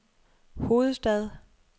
hovedstad